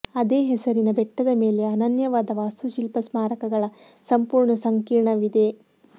ಅದೇ ಹೆಸರಿನ ಬೆಟ್ಟದ ಮೇಲೆ ಅನನ್ಯವಾದ ವಾಸ್ತುಶಿಲ್ಪ ಸ್ಮಾರಕಗಳ ಸಂಪೂರ್ಣ ಸಂಕೀರ್ಣವಿದೆ